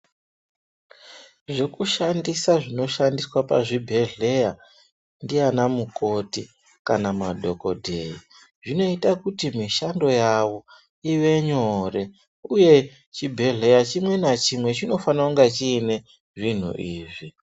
Zvekushandisa zvinoshandiswa pazvibhehlera ndiana mukoti kana madhokodheya zvinoita kuti mushando wavo uvaitire nyore uye chibhedhlera chimwe na chimwe chinofana kunge chine zvinhu izvi.